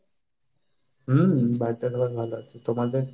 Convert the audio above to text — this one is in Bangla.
হম বাড়িতে সবাই ভালো আছে। তোমাদের?